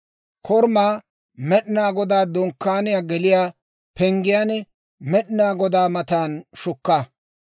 Korumaa, Med'inaa Godaa Dunkkaaniyaa geliyaa penggiyaan Med'inaa Godaa matan shukka.